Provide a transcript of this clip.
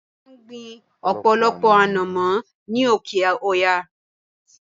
Wọ́n máa ń gbin ọ̀pọ̀lọpọ̀ anomo ni oke-oya